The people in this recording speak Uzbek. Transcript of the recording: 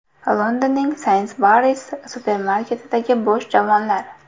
Londonning Sainsbury’s supermarketidagi bo‘sh javonlar.